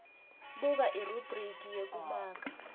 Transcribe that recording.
buka irubhriki yekumaka